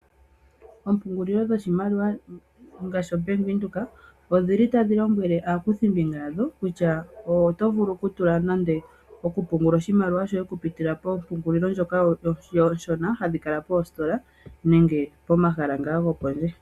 Oompungulilo dhoshimaliwa ngaashi o Bank Windhoek odhili tashi lombwele aakuthimbinga yasho kutya oto vulu okutula nande oku pungula oshimaliwa shoye oku pitila mompungulilo ndjoka ooshona hadhi kala oositola nenge pomahala ngaa gopondje.